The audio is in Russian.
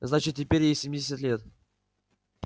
значит теперь ей семьдесят лет